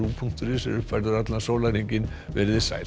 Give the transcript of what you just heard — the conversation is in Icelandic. punktur is er uppfærður allan sólarhringinn sæl